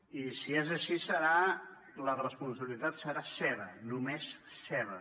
i si és així la responsabilitat serà seva només seva